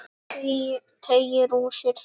Teygir úr sér.